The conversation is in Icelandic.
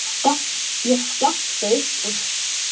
Ég skellti upp úr.